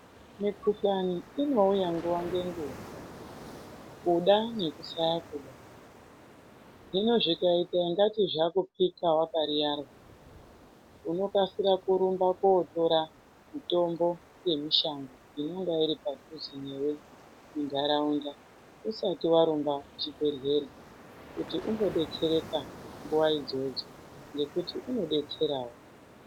Mikhuhlani inouya nguwa ngenguwa, kuda nekusada hino zvikaita ungati zvakuphika wakariyarwa unokasira kotora mitombo yemushango inonga iri padhuze newe muntaraunda usati warumba kuchibhehlera kuti umbodetsereka nguwa idzodzo ngekuti inodetserawo.